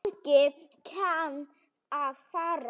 Þannig kann að fara.